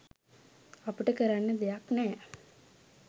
අපට කරන්න දෙයක් නෑ.